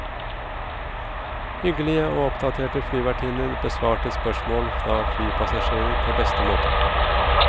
Hyggelige og oppdaterte flyvertinner besvarte spørsmål fra flypassasjerer på beste måte.